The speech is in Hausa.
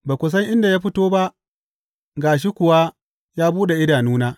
Ba ku san inda ya fito ba, ga shi kuwa ya buɗe idanuna.